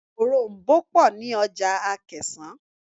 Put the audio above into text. Òroǹbó pọ̀ ní ọjà Akẹ̀sán.